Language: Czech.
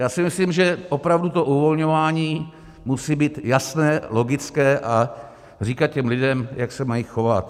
Já si myslím, že opravdu to uvolňování musí být jasné, logické a říkat těm lidem, jak se mají chovat.